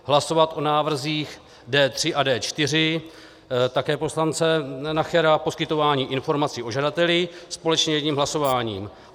Hlasovat o návrzích D3 a D4 také poslance Nachera, poskytování informací o žadateli, společně jedním hlasováním.